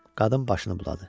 Qadın başını buladı.